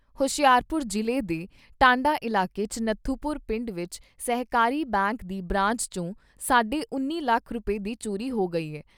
ਹੁਸ਼ਿਆਰਪੁਰ ਜ਼ਿਲ੍ਹੇ ਦੇ ਟਾਂਡਾ ਇਲਾਕੇ 'ਚ ਨੱਥੂਪੁਰ ਪਿੰਡ ਵਿਚ ਸਹਿਕਾਰੀ ਬੈਂਕ ਦੀ ਬਰਾਂਚ ' ਚੋਂ ਸਾਢੇ ਉੱਨੀ ਲੱਖ ਰੁਪਏ ਦੀ ਚੋਰੀ ਹੋ ਗਈ ਏ।